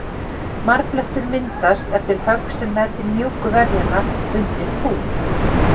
Marblettur myndast eftir högg sem nær til mjúku vefjanna undir húð.